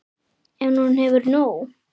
En hún hefur nóg.